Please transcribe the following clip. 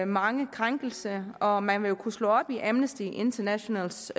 mange krænkelser og man vil kunne slå op i amnesty internationals